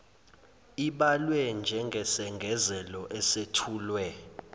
ibalwe njengesengezelo esethulwe